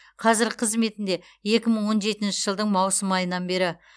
қазіргі қызметінде екі мың он жетінші жылдың маусым айынан бері